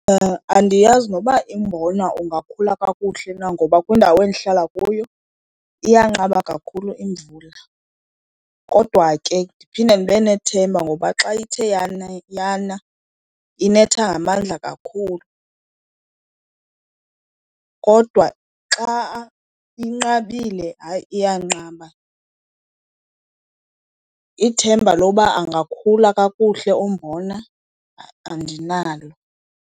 Andiyazi noba umbona ungakhula kakuhle na ngoba kwindawo endihlala kuyo iyanqaba kakhulu imvula. Kodwa ke ndiphinde ndibe nethemba ngoba xa ithe yana inetha ngamandla kakhulu, kodwa xa inqabile hayi iyanqaba. Ithemba loba angakhula kakuhle umbona andinalo.